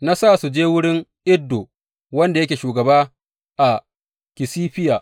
Na sa su je wurin Iddo wanda yake shugaba a Kasifiya.